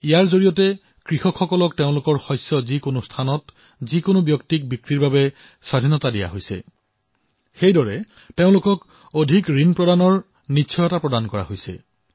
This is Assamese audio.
ইয়াৰ দ্বাৰা এফালে কৃষকে নিজৰ ফচল যিকোনো স্থানত যেতিয়াইতেতিয়াই বিক্ৰী কৰাৰ স্বাধীনতা লাভ কৰিছে আৰু আনফালে তেওঁলোকে অধিক ঋণ পোৱাটোও সুনিশ্চিত হৈছে